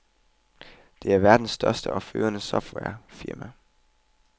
Det er verdens største og førende softwarefirma.